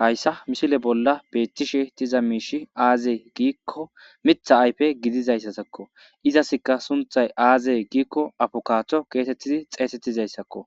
Hayssa mishile bolla peetishe tiza miishi aazee giikko mitha ayfe gidizayssatakko izasikka sunthay aazeye giikko afokaaththo keetettidi xeesettizayssakko